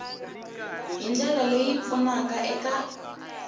hi ndlela leyi pfunaka eka